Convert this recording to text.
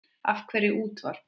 Af hverju útvarp?